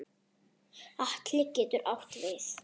Atli getur átt við